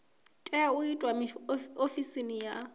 tea u itwa ofisini ya